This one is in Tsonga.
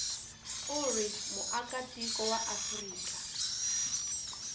u ri muakatiko wa afrika